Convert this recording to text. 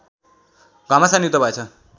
घमासान युद्ध भएछ